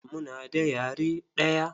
Muna da yare ɗaya.